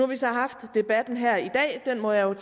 vi så haft debatten her i dag den må jeg